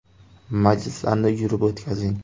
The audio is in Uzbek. Majlislarni yurib o‘tkazing.